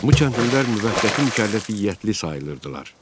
Bu kəndlilər müvəqqəti mükəlləfiyyətli sayılırdılar.